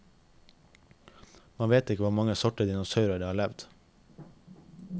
Man vet ikke hvor mange sorter dinosaurer det har levd.